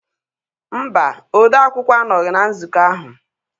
mba odeakwụkwọ anọghị na nzukọ ahụ